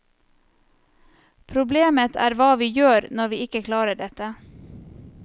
Problemet er hva vi gjør når vi ikke klarer dette.